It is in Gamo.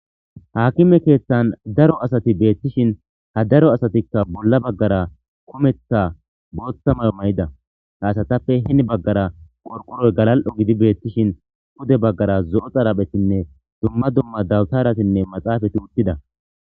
Hakime keeththan daro asati beettishin ha daro asatikka bolla baggara kumeththa booththa mamayida haasatappe hin baggara qorqoroy galal'o gidi beettishin pude baggara zo'o xaraphetinne dumma dumma dawutaratinne maxaafati wuttida